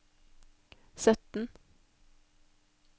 sytten